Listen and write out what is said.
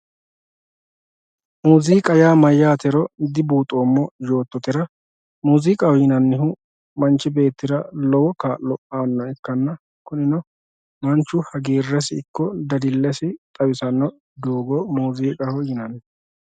Muziiqa yaa mayyatero dibuuxoommo yoottotera muziiqaho yinannihu manchi beettira lowo kaa'lo aanoha ikkanna kunino manchu hagiiresi ikko dadilesi xawisano doogo muziiqaho yinanni.